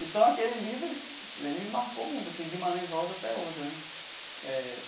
Então, aquele livro ele ele me marcou muito assim, Guimarães Rosa até hoje né eh.